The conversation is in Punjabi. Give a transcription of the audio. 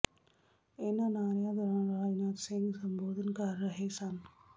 ਇਨ੍ਹਾਂ ਨਾਅਰਿਆਂ ਦੌਰਾਨ ਰਾਜਨਾਥ ਸਿੰਘ ਸੰਬੋਧਨ ਕਰ ਰਹੇ ਸਨ